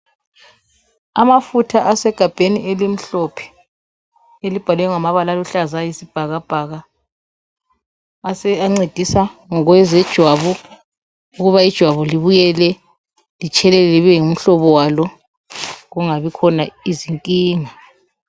Amafutha asegabheni elimhlophe elibhalwe ngamabala aluhlaza okwesibhakabhaka ancedisa ngokwezejwabu ukuba ijwabu libuyele litshelele libe ngumhlobo walo kungabikhona izinkinga.